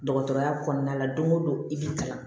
Dɔgɔtɔrɔya kɔnɔna la don o don i bɛ kalan